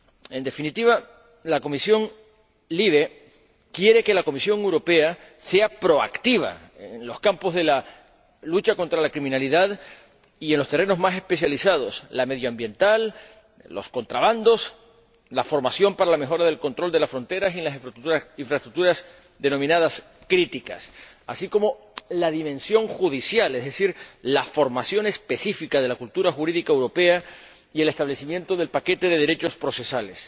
En definitiva, la Comisión LIBE quiere que la Comisión Europea sea proactiva en los campos de la lucha contra la criminalidad y en los terrenos más especializados el medio ambiente, los contrabandos, la formación para la mejora del control de las fronteras en las infraestructuras denominadas críticas, así como la dimensión judicial, es decir, la formación específica de la cultura jurídica europea y el establecimiento del paquete de derechos procesales.